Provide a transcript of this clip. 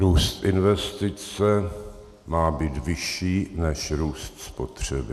Růst investice má být vyšší než růst spotřeby.